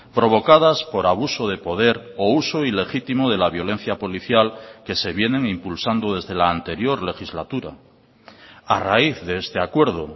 provocadas por abuso de poder o uso ilegítimo de la violencia policial que se vienen impulsando desde la anterior legislatura a raíz de este acuerdo